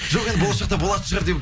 жоқ енді болашақта болатын шығар деп